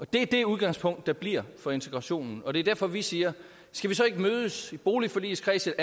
det er det udgangspunkt der bliver for integrationen og det er derfor vi siger skal vi så ikke mødes i boligforligskredsen